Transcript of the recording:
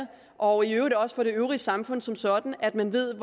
og i øvrigt også for det øvrige samfund som sådan at man ved